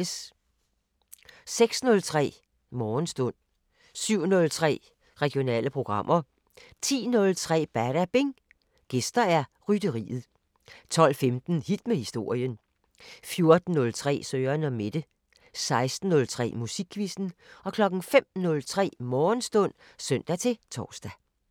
06:03: Morgenstund 07:03: Regionale programmer 10:03: Badabing: Gæster Rytteriet 12:15: Hit med historien 14:03: Søren & Mette 16:03: Musikquizzen 05:03: Morgenstund (søn-tor)